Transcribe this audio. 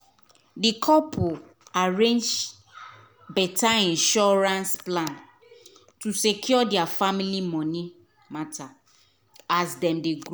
di couple arrange better insurance plan to secure their family money matter as dem dey grow.